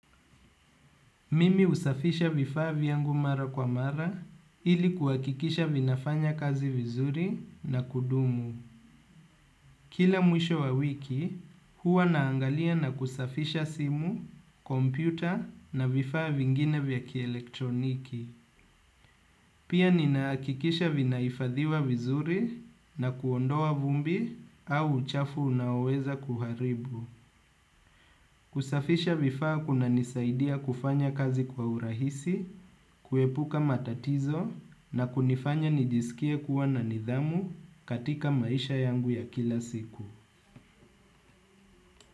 Mimi husafisha vifaa vyangu mara kwa mara ili kuhakikisha vinafanya kazi vizuri na kudumu. Kila mwisho wa wiki, huwa naangalia na kusafisha simu, kompyuta na vifaa vingine vya kielektroniki. Pia ninaakikisha vinahifadhiwa vizuri na kuondoa vumbi au uchafu unaoweza kuharibu. Kusafisha vifaa kunanisaidia kufanya kazi kwa urahisi, kuepuka matatizo na kunifanya nijisikie kuwa na nidhamu katika maisha yangu ya kila siku.